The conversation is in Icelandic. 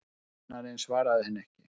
Kennarinn svaraði henni ekki.